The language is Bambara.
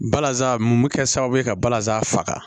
Balazan mun bɛ kɛ sababu ye ka balazan faga